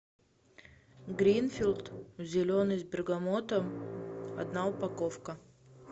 гринфилд зеленый с бергамотом одна упаковка